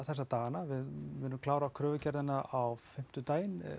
þessa dagana við munum klára kröfugerðina á fimmtudaginn